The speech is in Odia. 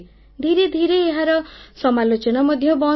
ଧିରେ ଧିରେ ଏହାର ସମାଲୋଚନା ମଧ୍ୟ ବନ୍ଦ ହୋଇଗଲା